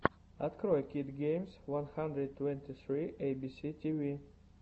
открой кидс геймс ван хандрэд твэнти сри эйбиси тиви